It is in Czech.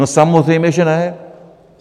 No samozřejmě že ne.